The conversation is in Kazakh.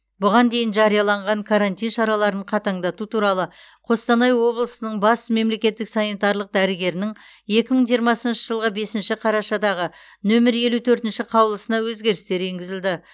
бұған дейін жарияланған карантин шараларын қатаңдату туралы қостанай облысының бас мемлекеттік санитарлық дәрігерінің екі мың жиырмасыншы жылғы бесінші қарашадағы нөмір елу төртінші қаулысына өзгерістер енгізілді